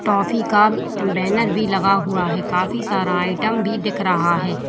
Toffee का banner भी लगा हुआ हैं काफी सारा आइटम भी दिख रहा है।